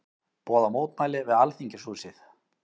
Boða mótmæli við Alþingishúsið